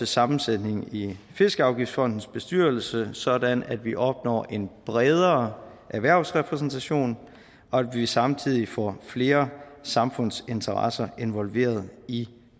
sammensætningen i fiskeafgiftsfondens bestyrelse sådan at vi opnår en bredere erhvervsrepræsentation og samtidig får flere samfundsinteresser involveret i